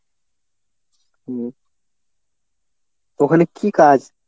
হুম। ওখানে কী কাজ?